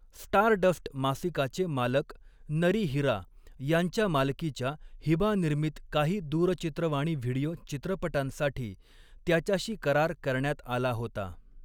Stardust मासिकाचे मालक नरी हिरा यांच्या मालकीच्या हिबा निर्मीत काही दूरचित्रवाणी व्हिडिओ चित्रपटांसाठी त्याच्याशी करार करण्यात आला होता.